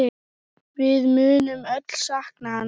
Við munum öll sakna hans.